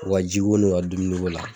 O ka ji ko n' o ka dumuni ko la.